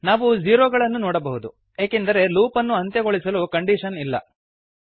ನಾವು ಝೀರೋಗಳನ್ನು ನೋಡಬಹುದು ಏಕೆಂದರೆ ಲೂಪ್ ಅನ್ನು ಅಂತ್ಯಗೊಳಿಸಲು ಕಂಡೀಶನ್ ಇಲ್ಲ